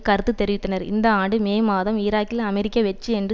கருத்து தெரிவித்தனர் இந்த ஆண்டு மே மாதம் ஈராக்கில் அமெரிக்க வெற்றி என்று